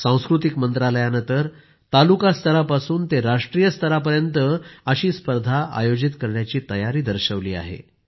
सांस्कृतिक मंत्रालयानं तर तालुका स्तरापासून ते राष्ट्रीय स्तरापर्यंत अशी स्पर्धा आयोजित करण्याची तयारी दर्शवली आहे